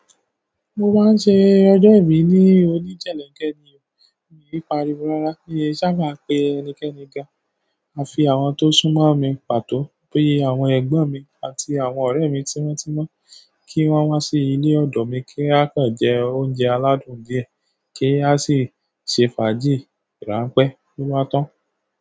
Mo máa ń ṣe ọjọ́ ìbí ní oníjelenkẹ́ ni o, mi kin pàríwó rárá. Mí i sábà pe ẹnikẹ́ni gan, à fi àwọn tó sún mọ́ mi pàtó. Bi àwọn ẹ̀gbọ́n mi àti àwọn ọ̀rẹ́ mi tímọ́ tímọ́ kí wọ́n wá sí ilé ọdọ mi kí a kàn jẹ oúnjẹ aládùn díẹ̀ kí a sì ṣe fàájì rànpé. Lo bá tàn.